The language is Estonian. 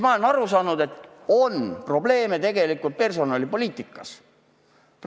Ma olen aru saanud, et probleeme on tegelikult personalipoliitikas.